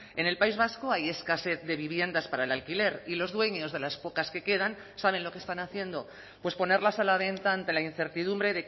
en el país vasco hay escasez de viviendas para el alquiler y los dueños de las pocas que quedan saben lo que están haciendo pues ponerlas a la venta ante la incertidumbre